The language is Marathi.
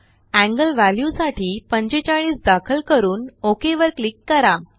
एंगलव्ह्याल्यूसाठी45दाखल करून ओक वरक्लिक करा